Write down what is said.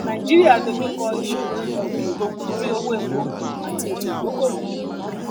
nàìjíríà dojú kọ ìṣòro ilẹ òkèèrè nítorí owó epo àti ètò ìdókoowò